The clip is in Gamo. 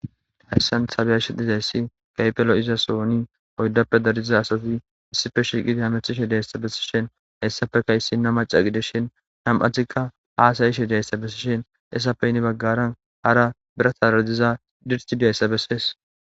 Hayssan sabyashididayssi kaypelo iza sooni oyldappe darjiza asafi issife shiqidi hamethishe dihayssabesishen hayssafeka issina maca gideshen nam7atikka haasayi she diayssa bessishen essapeynni baggaran hara bira taadiza dirti diayssabessees.